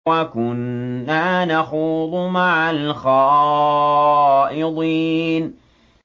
وَكُنَّا نَخُوضُ مَعَ الْخَائِضِينَ